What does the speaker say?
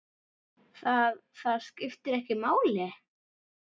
Það, það skiptir ekki máli?